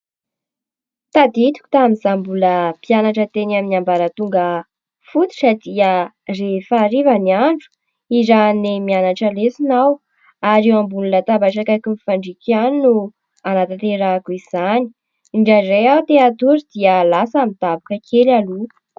Tadidiko tamin'izaho mbola mpianatra teny amin'ny ambaratonga fototra ; dia rehefa hariva ny andro nirahin' i Neny nianatra lesona aho ary eo ambonin'ny latabatra akaikin'ny fandrinako ihany no hanatanterahako izany. Indraindray aho te-hatory dia lasa midaboka kely aloha.